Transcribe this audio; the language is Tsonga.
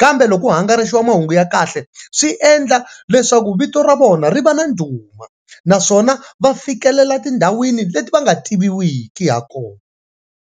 kambe loko hangalasiwa mahungu ya kahle swi endla leswaku vito ra vona ri va na ndhuma naswona va fikelela tindhawini leti va nga tiviwiki ha kona.